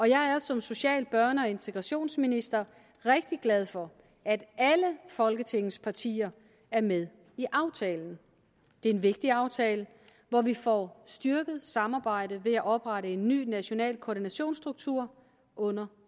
jeg er som social børne og integrationsminister rigtig glad for at alle folketingets partier er med i aftalen det er en vigtig aftale hvor vi får styrket samarbejdet ved at oprette en ny national koordinationsstruktur under